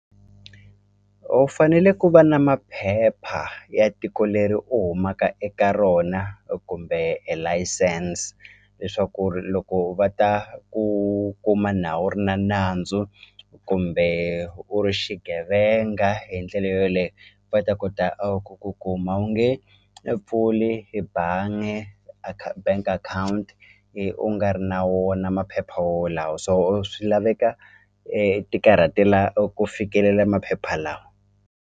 U fanele ku va na maphepha ya tiko leri u humaka eka rona kumbe e layisense leswaku ri loko va ta ku kuma nawu u ri na nandzu kumbe u ri xigevenga hi ndlela yoleyo va ta kota ku ku kuma a wu nge e pfuli i bangi bank account hi u nga ri na wona maphepha wolawo so swi laveka ti karhatela ku fikelela maphepha lawa.